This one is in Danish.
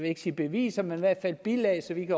ikke sige beviser men i hvert fald bilag så vi